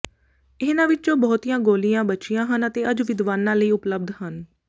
ਇਹਨਾਂ ਵਿੱਚੋਂ ਬਹੁਤੀਆਂ ਗੋਲੀਆਂ ਬਚੀਆਂ ਹਨ ਅਤੇ ਅੱਜ ਵਿਦਵਾਨਾਂ ਲਈ ਉਪਲਬਧ ਹਨ